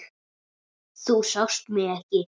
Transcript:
Þú sást mig ekki.